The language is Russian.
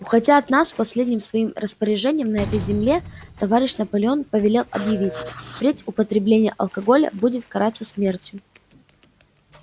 уходя от нас последним своим распоряжением на этой земле товарищ наполеон повелел объявить впредь употребление алкоголя будет караться смертью